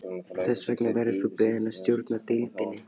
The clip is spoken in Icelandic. Þess vegna verður þú beðinn að stjórna deildinni